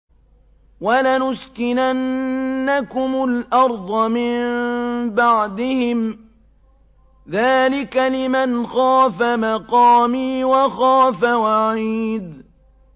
وَلَنُسْكِنَنَّكُمُ الْأَرْضَ مِن بَعْدِهِمْ ۚ ذَٰلِكَ لِمَنْ خَافَ مَقَامِي وَخَافَ وَعِيدِ